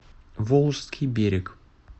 волжский берег